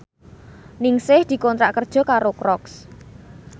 Ningsih dikontrak kerja karo Crocs